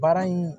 Baara in